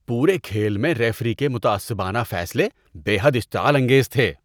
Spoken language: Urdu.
پورے کھیل میں ریفری کے متعصبانہ فیصلے بے حد اشتعال انگیز تھے۔